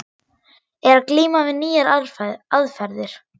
Er að glíma við nýjar aðferðir.